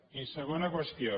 i segona qüestió